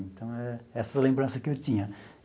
Então, é essa lembrança que eu tinha.